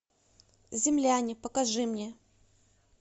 земляне покажи мне